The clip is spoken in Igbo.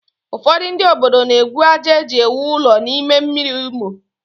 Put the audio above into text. Ụfọdụ ndị obodo na-egwu àjà e ji ewu ụlọ n'ime mmiri Imo